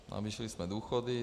Navýšili jsme důchody.